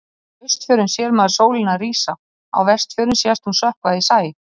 Á Austfjörðum sér maður sólina rísa, á Vestfjörðum sést hún sökkva í sæ.